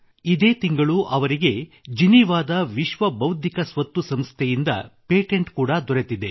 ಇದೇ ತಿಂಗಳು ಅವರಿಗೆ ಜಿನೀವಾದ ವಿಶ್ವದ ಬೌದ್ಧಿಕ ಸ್ವತ್ತು ಸಂಸ್ಥೆಯಿಂದ ಪೇಟೆಂಟ್ ಕೂಡಾ ದೊರೆತಿದೆ